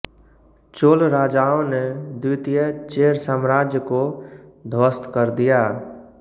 चोल राजाओं ने द्वितीय चेरसाम्राज्य को ध्वस्त कर दिया